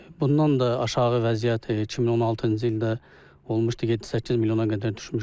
Bundan da aşağı vəziyyət 2016-cı ildə olmuşdu, 7-8 milyona qədər düşmüşdü.